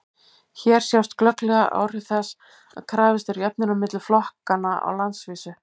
hér sjást glögglega áhrif þess að krafist er jöfnunar milli flokkanna á landsvísu